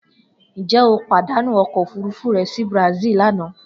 Njẹ o padanu ọkọ ofurufu rẹ si Brazil lana?